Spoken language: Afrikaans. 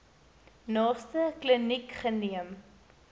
naaste kliniek geneem